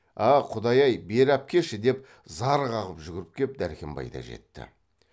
а құдай ай бері әпкеші деп зар қағып жүгіріп кеп дәркембай да жетті